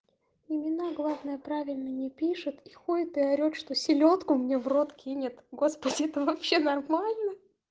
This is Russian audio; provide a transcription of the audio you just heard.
имена главное правильно не пишет и ходит и орёт что селёдку мне в рот кинет господи это вообще нормально